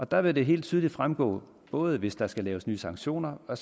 der vil det helt tydeligt fremgå både hvis der skal laves nye sanktioner og